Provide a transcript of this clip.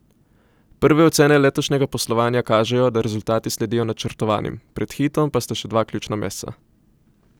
Prve ocene letošnjega poslovanja kažejo, da rezultati sledijo načrtovanim, pred Hitom pa sta še dva ključna meseca.